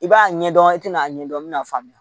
I b'a ɲɛdɔn i tɛna a ɲɛ dɔn i bɛna faamuya